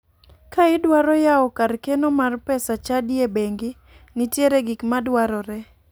Ka idwaro yawo kar keno mar pesa chadi e bengi, nitiere gik madwarore.